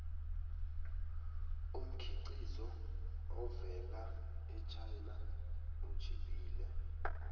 umkhiqizo ovela echina utjhiphile